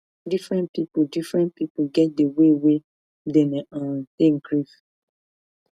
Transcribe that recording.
differen pipu differen pipu get di way wey dem dey um take grief